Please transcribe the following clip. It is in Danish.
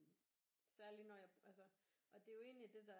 Særligt når jeg altså og det er jo egentlig det der